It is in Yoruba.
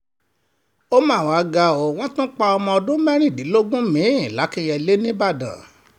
ó mà wá ga o wọ́n tún pa ọmọ ọdún mẹ́rìndínlógún mi-ín làkìnyẹlé nìbàdàn